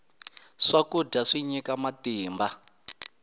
swakudya swi nyika matimba